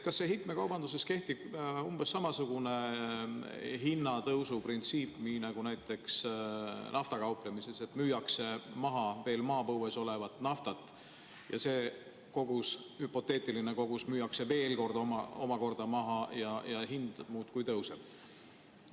Kas heitmekaubanduses kehtib umbes samasugune hinnatõusu printsiip nagu näiteks naftaga kauplemises, et müüakse maha veel maapõues olevat naftat ja see kogus, hüpoteetiline kogus, müüakse veel omakorda maha ja hind muudkui tõuseb?